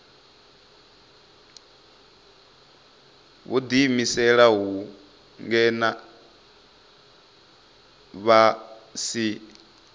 vho ḓiimiselaho ngeno vha si